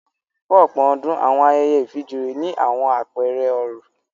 Fún ọ̀pọ̀ ọdún, àwọn ayẹyẹ ìfijoyé ní àwọn apẹẹrẹ oró